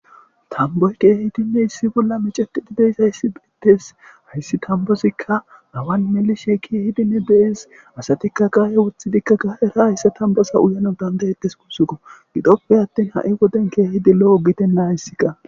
tamboy keehi dinne issi bolla mecetidideys hayssi bettes hayssi tambozikka hawan melishe kiehidinne de7es asatikka gaaye wothidikka ga era hayssa tambasa uyanon dandayettes kusuko gidoppe attin ha7i woden keehidi lo7o giten nahyssi qa